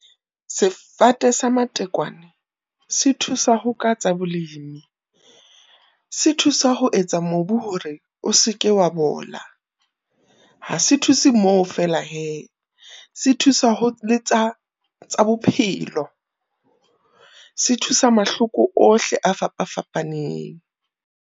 Sefate sa matekwane se thusa ho ka tsa bolemi se thusa ho etsa mobu hore o se ke wa bola. Ha se thuse mo feela hee, se thusa tsa bophelo, se thusa mahloko ohle a fapa-fapaneng.